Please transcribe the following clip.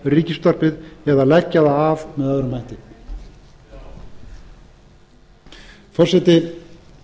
ríkisútvarpið eða leggja það af með öðrum hætti forseti